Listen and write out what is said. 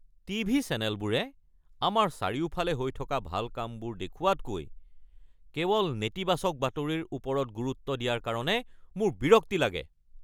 TV চেনেলবোৰে আমাৰ চাৰিওফালে হৈ থকা ভাল কামবোৰ দেখুওৱাতকৈ কেৱল নেতিবাচক বাতৰিৰ ওপৰত গুৰুত্ব দিয়াৰ কাৰণে মোৰ বিৰক্তি লাগে। (ব্যক্তি ২)